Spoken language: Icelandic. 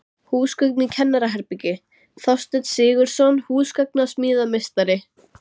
Húsgögn í kennaraherbergi: Þorsteinn Sigurðsson, húsgagnasmíðameistari.